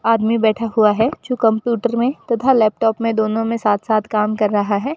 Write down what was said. आदमी बैठा हुआ है जो कंप्यूटर में तथा लैपटॉप में दोनों में साथ साथ काम कर रहा है।